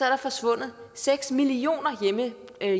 er forsvundet seks millioner